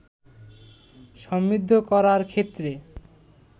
সমৃদ্ধ করার ক্ষেত্রে